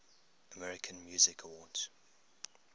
american music awards